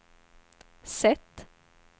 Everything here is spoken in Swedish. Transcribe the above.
sätt